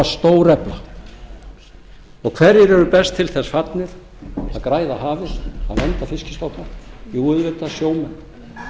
stórefla hverjir eru best til þess fallnir að græða hafið og vernda fiskstofna jú auðvitað sjómenn